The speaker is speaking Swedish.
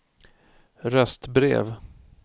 röstbrev